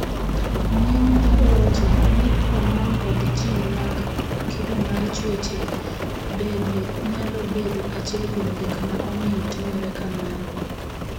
Ng'eny gi owacho ni homon kod jin mag kido mar chuech bende nyalo bedo achiel kuom gik ma omiyo timore kamano.